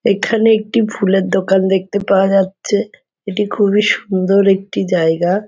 এখানে একটি ফুলের দোকান দেখতে পাওয়া যাচ্ছে । এটি খুবই সুন্দর একটি জায়গা।